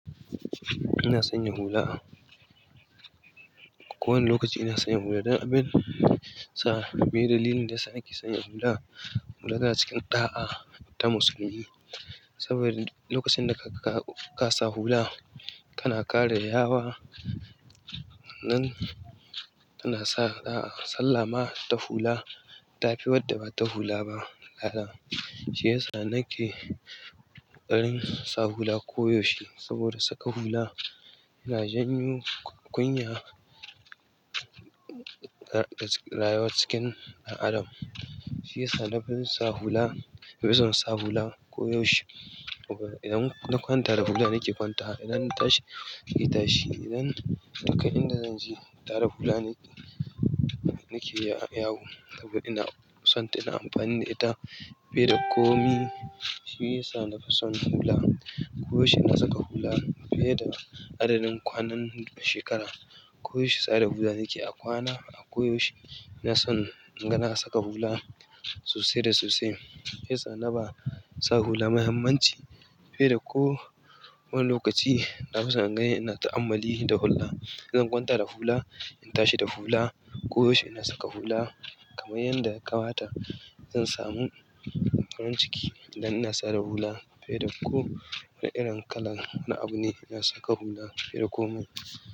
Ina sanya hula. Ko wani lokaci ina sanya hula. Dana bin sa, me dalilin da yasa nake sanya hula? Hula yana cikin ɗa'a ta musulmi. Saboda lokacin da ka, ka sa hula, kana kare yawa nan tana sa da sallama ta hula ta fi wadda ba ta hula ba. Hallau, shi yasa nake ƙarin sa hula koyaushe. Saboda saka hula yana janyo ƙunya da, da rayuwa cikin ɗan adam. Shi yasa na fi son sa hula, na fi son sa hula koyaushe. Idan na kwanta da hula nake kwantawa idan na tashi da hula nake tashi idan duka inda zanje tarw da hula nake yawo saboda ina sonta da ita nake komai. Shi yasa na fi son hula. Koyaushe na saka hula fiye da adadin kwanan shekara. Koyaushe sa da hula nake, a kwana, a koyaushe ina son, in ga na saka hula sosai da sosai. Shi yasa na ba sa hula muhimmanci fiye da ko wani lokaci. Na fi son in ganni ina ta'ammali da hula. Idan kwanta da hula, in tashi da hula, koyaushe ina saka hula kamar yanda ya kamata. Zan samu farin ciki idan ina sa da hula fiye da ko wani irin kalan na abu ne. Ina saka hula fiye da komai.